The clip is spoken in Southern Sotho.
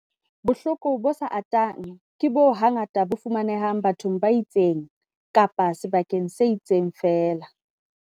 Bohloko bo sa atang ke boo hangata bo fumanehang bathong ba itseng kapa sebakeng se itseng feela.